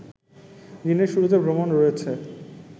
দিনের শুরুতে ভ্রমণ রয়েছে